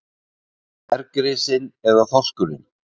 Bergrisinn eða þorskurinn?